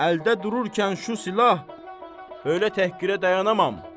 Əldə dururkən şu silah, elə təhqirə dayanamam.